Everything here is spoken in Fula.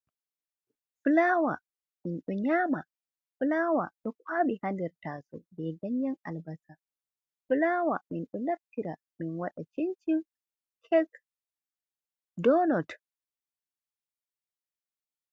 Flawa ɗum ɗo nyaama. Flawa ɗo kwaaɓi ha nder taaso be ganyen albasa. Flawa min ɗo naftira min waɗa cincin, kek, donot.